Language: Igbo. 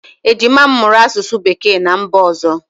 Ejima m mụrụ asụsụ Bekee ná mba ọzọ.